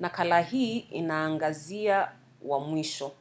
nakala hii inaangazia wa mwisho